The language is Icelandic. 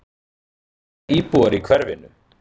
Hvað segja íbúar í hverfinu?